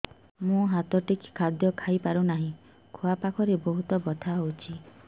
ମୁ ହାତ ଟେକି ଖାଦ୍ୟ ଖାଇପାରୁନାହିଁ ଖୁଆ ପାଖରେ ବହୁତ ବଥା ହଉଚି